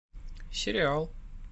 сериал